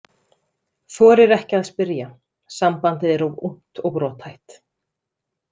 Þorir ekki að spyrja, sambandið er of ungt og brothætt.